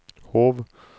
Hov